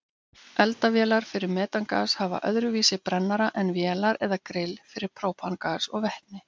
Eldavélar fyrir metangas hafa öðruvísi brennara en vélar eða grill fyrir própangas og vetni.